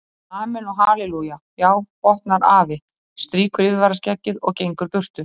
Og amen og hallelúja já, botnar afi, strýkur yfirvaraskeggið og gengur burtu.